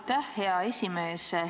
Aitäh, hea esimees!